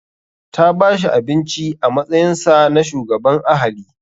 Ta bashi abinci a matsayinsa na shugaban ahali.